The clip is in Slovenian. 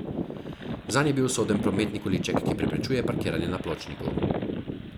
Zanj je bil usoden prometni količek, ki preprečuje parkiranje na pločniku.